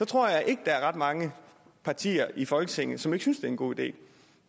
tror jeg ikke der er ret mange partier i folketinget som ikke synes det er en god idé